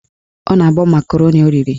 Ọ na-agbọ makaroni o riri